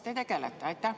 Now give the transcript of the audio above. Kas te tegelete sellega?